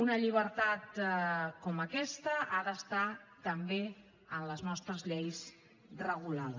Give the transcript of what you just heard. una llibertat com aquesta ha d’estar també en les nostres lleis regulada